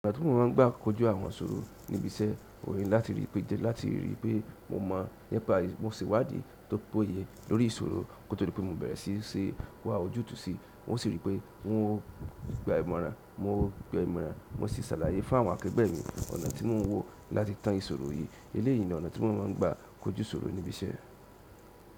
Ọ̀nà tí mo máa ń gbà kojú àwọn ìsòrò níbi iṣẹ́ ohun ni láti rí pé jẹ, láti ríi pé mo mọ̀ nípa yìí mo sì wádìí tó péye lórí ìṣòro kí o tó di pé mo bẹ̀rẹ̀ sí í se wá ojútùú sí i. Ǹ o sì rí pé n ó gba ìmọ̀ràn, mo gba ìmọ̀ràn, mo sì ṣàlàyé fún àwọn akẹgbẹ́ mi ọ̀nà tí mo ń wò láti tan ìsọ̀rọ̀ yìí. Eléyìí ni ọ̀nà tí mo máa ń gbà kojú sọ̀rọ̀ níbi iṣẹ́.